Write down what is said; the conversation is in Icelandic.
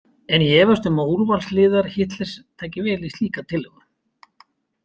En ég efast um að úrvalsliðar Hitlers taki vel í slíka tillögu.